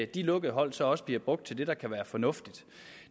de lukkede hold så også bliver brugt til det der kan være fornuftigt